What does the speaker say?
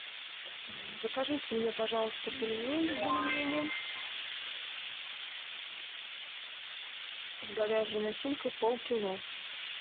закажите мне пожалуйста пельмени бульмени с говяжьей начинкой полкило